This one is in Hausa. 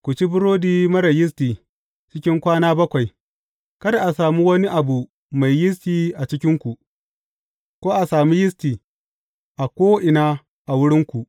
Ku ci burodi marar yisti cikin kwana bakwai; kada a sami wani abu mai yisti a cikinku, ko a sami yisti a ko’ina a wurinku.